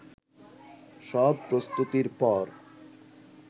সব প্রস্তুতির পর